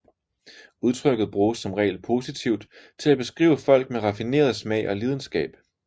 Udtrykket bruges som regel positivt til at beskrive folk med raffineret smag og lidenskab